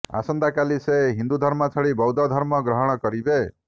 ଆସନ୍ତାକାଲି ସେ ହିନ୍ଦୁ ଧର୍ମ ଛାଡ଼ି ବୌଦ୍ଧ ଧର୍ମ ଗ୍ରହଣ କରିବେ